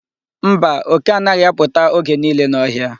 Mba, oke anaghị apụta oge niile n'ọhịa.